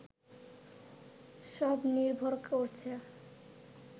সব নির্ভর করছে